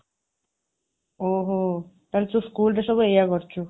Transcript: ଓହୋ, ତାହେଲେ ତୁ school ରେ ସବୁ ଏଇୟା କରୁଛୁ